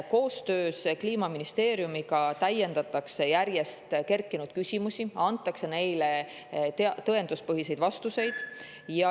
Koostöös Kliimaministeeriumiga järjest kerkinud küsimusi ja antakse neile tõenduspõhiseid vastuseid.